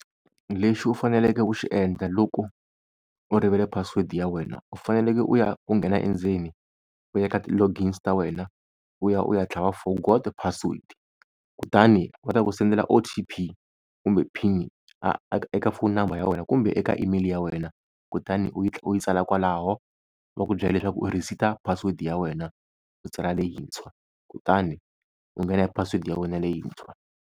Lexi u faneleke ku xi endla loko u rivele password ya wena, u faneleke u ya ku nghena endzeni u ya ka ti-logins ta wena u ya u ya tlhava forgot password, kutani va ta ku sendela O_T_P kumbe pin eka foni number ya wena, kumbe eka email ya wena kutani u yi u yi tsala kwalaho va ku byela leswaku u reset password ya wena u tsala leyintshwa, kutani u nghena hi password ya wena leyintshwa.